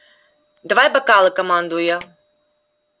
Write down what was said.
давай бокалы командую я